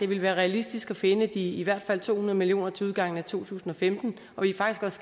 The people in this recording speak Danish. vil være realistisk at finde de i hvert fald to hundrede million kroner til udgangen af to tusind og femten og vi er faktisk